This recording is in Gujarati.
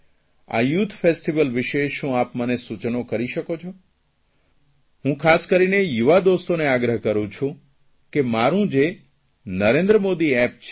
આ યુથા ફેસ્ટીવલ વિષે શું આપ મને સૂચનો કરી શકો છો હું ખાસ કરીને યુવા દોસ્તોને આગ્રહ કરૂં છું કે મારૂં જે નરેન્દ્ર મોદી એપ છે